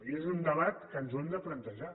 i és un debat que ens l’hem de plantejar